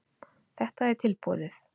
Þetta er tilboðið.